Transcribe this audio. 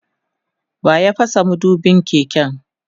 waya fasa madubin keken?